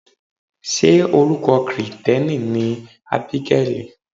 Ṣé orúkọ Kirìtẹ́nì ni Ábígẹ́lì?